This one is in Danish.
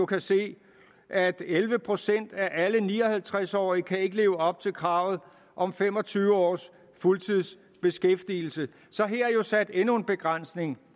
kan se at elleve procent af alle ni og halvtreds årige ikke kan leve op til kravet om fem og tyve års fuldtidsbeskæftigelse så her er jo sat endnu en begrænsning